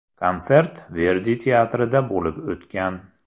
Konsert Verdi teatrida bo‘lib o‘tgan.